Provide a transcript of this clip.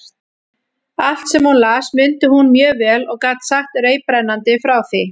Allt, sem hún las, mundi hún mjög vel og gat sagt reiprennandi frá því.